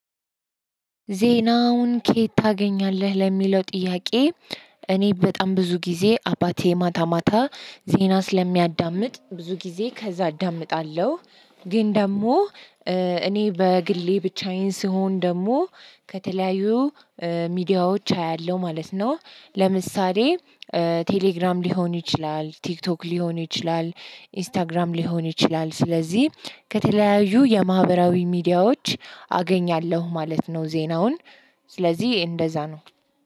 ዜናውን ከየት ታገኛለህ ለሚለው ጥያቄ? እኔ በጣም ብዙ ጊዜ አባቴ ማታ ማታ ዜና ስለሚያዳምጥ ብዙ ጊዜ ከዛ አዳምጣለሁ። ግን ደግሞ እኔ በግሌ ብቻዬን ስሆን ደግሞ ከተለያዩ ሚዲያዎች አያለሁ ማለት ነው። ለምሳሌ ቴሌግራም ሊሆን ይችላል ቲክቶክ ሊሆን ይችላል ኢንስታግራም ሊሆን ይችላል። ስለዚህ ከተለያዩ የማህበራዊ ሚዲያዎች አገኛለሁ ማለት ነው። ዜናውን ስለዚህ እንደዛ ነው